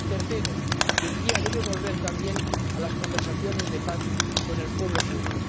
tercero, Turquía debe volver también a las conversaciones de paz con el pueblo kurdo